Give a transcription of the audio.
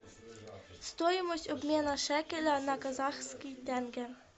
стоимость обмена шекеля на казахский тенге